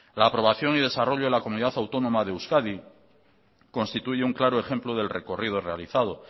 la aprobación y desarrollo de la comunidad autónoma de euskadi constituye un claro ejemplo del recorrido realizado